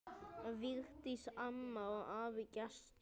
Vigdís amma og afi Gestur.